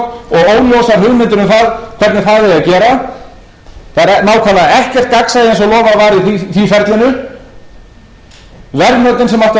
og lofað var í því ferlinu verðmætin sem áttu að vera kynnt fyrir